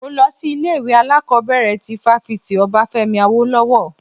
Mo lọ sí ilé ìwé alákọ̀bẹ̀rẹ̀ ti fáfitì Obafemi Awolowo.